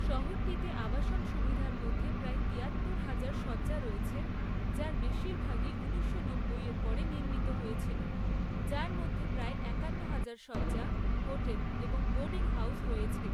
শহরটিতে আবাসন সুবিধার মধ্যে প্রায় তিয়াত্তর হাজার শয্যা রয়েছে, যার বেশিরভাগই ঊনিশশো নব্বই এর পরে নির্মিত হয়েছিল, যার মধ্যে প্রায় একান্ন হাজার শয্যা, হোটেল এবং বোর্ডিং হাউজ রয়েছে৷